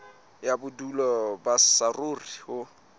ya bodulo ba saruri ho